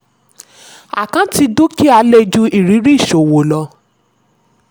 àkáǹtì dúkìá lè ju ìrírí ìṣòwò lọ.